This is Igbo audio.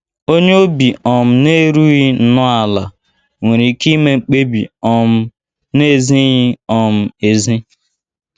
Onye obi um na - erughị nnọọ ala nwere ike ime mkpebi um na - ezighị um ezi.